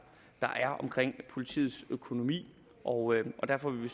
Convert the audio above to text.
er omkring politiets økonomi og derfor vil vi